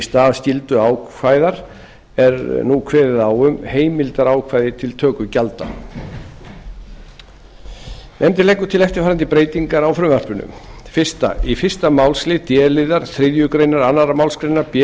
stað skylduákvæða er nú kveðið á um heimildarákvæði til töku gjalda nefndin leggur til eftirfarandi breytingar á frumvarpinu fyrstu í fyrsta málsl d liðar þriðju grein annarri málsgrein b